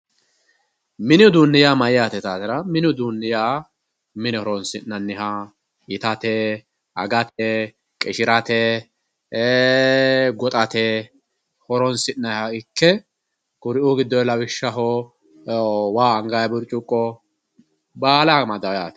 mini uduunni mayyate yitaatera mini uduunni mine horonsi'naniha yitaate itat agate qishirate ee goxate horonsi'nanniha ikke kuriuu giddoonni lawishshaho waa anganni burcuqqo baala amadanno yaate.